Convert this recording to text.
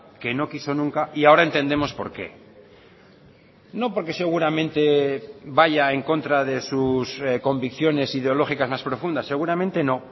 que no quiso nunca y ahora entendemos por qué no porque seguramente vaya en contra de sus convicciones ideológicas más profundas seguramente no